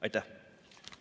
Aitäh!